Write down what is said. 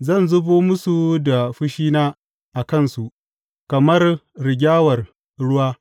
Zan zubo musu da fushina a kansu kamar rigyawar ruwa.